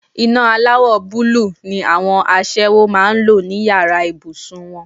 Iná aláwọ̀ búlúù ni àwọn aṣẹ́wó máa ń lò ní yàrá ìbùsùn wọn.